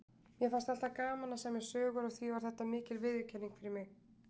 Mér fannst alltaf gaman að semja sögur og því var þetta mikil viðurkenning fyrir mig.